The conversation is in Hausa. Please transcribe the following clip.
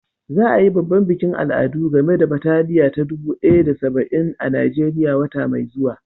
Za a yi babban bikin al'adu game da bataliya ta dubu ɗaya da saba'in a Najeriya wata mai zuwa.